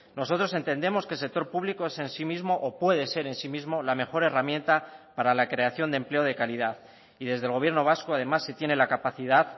nosotros entendemos que el sector público es en sí mismo o puede ser en sí mismo la mejor herramienta para la creación de empleo de calidad y desde el gobierno vasco además se tiene la capacidad